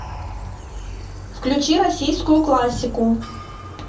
включи российскую классику